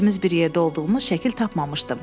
Üçümüz bir yerdə olduğumuz şəkil tapmamışdım.